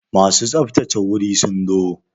Masu tsaftsace wuri sun zo?